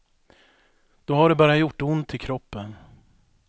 Då har det bara gjort ont i kroppen.